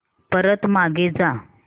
परत मागे जा